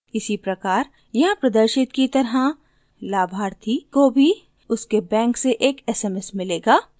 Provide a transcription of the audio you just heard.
इसी प्रकार यहाँ प्रदर्शित की तरह लाभार्थी को भी उसके बैंक से एक sms मिलेगा